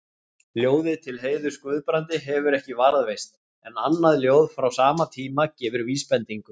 Ljóðið til heiðurs Guðbrandi hefur ekki varðveist, en annað ljóð frá sama tíma gefur vísbendingu.